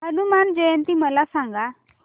हनुमान जयंती मला सांगा